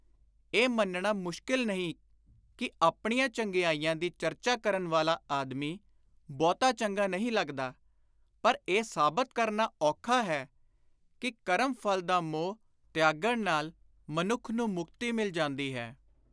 ਇਹ ਮੰਨਣਾ ਮੁਸ਼ਕਿਲ ਨਹੀਂ ਕਿ ਆਪਣੀਆਂ ਚੰਗਿਆਈਆਂ ਦੀ ਚਰਚਾ ਕਰਨ ਵਾਲਾ ਆਦਮੀ ਬਹੁਤਾ ਚੰਗਾ ਨਹੀਂ ਲੱਗਦਾ, ਪਰ ਇਹ ਸਾਬਤ ਕਰਨਾ ਔਖਾ ਹੈ ਕਿ ਕਰਮ-ਫਲ ਦਾ ਮੋਹ ਤਿਆਗਣ ਨਾਲ ਮਨੁੱਖ ਨੂੰ ਮੁਕਤੀ ਮਿਲ ਜਾਂਦੀ ਹੈ।